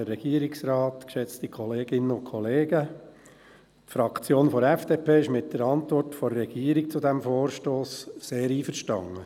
Die Fraktion FDP ist mit der Antwort der Regierung zu diesem Vorstoss sehr einverstanden.